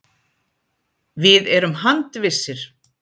Við erum handvissir.